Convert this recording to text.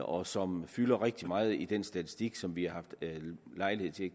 og som fylder rigtig meget i den statistik som vi har haft lejlighed til at